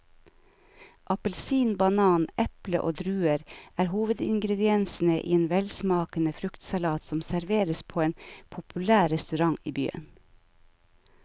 Appelsin, banan, eple og druer er hovedingredienser i en velsmakende fruktsalat som serveres på en populær restaurant i byen.